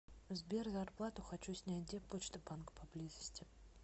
сбер зарплату хочу снять где почта банк поблизости